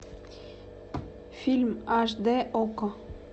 фильм аш д окко